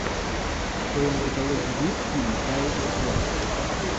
в твоем каталоге есть фильм кайл икс уай